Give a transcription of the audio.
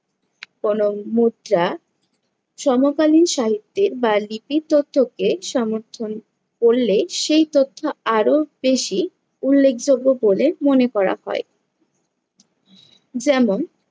কোনো মুদ্রা সমকালীন সাহিত্যের বা লিপি তথ্যকে সমর্থন করলে সেই তথ্য আরো বেশি উল্লেখযোগ্য বলে মনে করা হয়। যেমন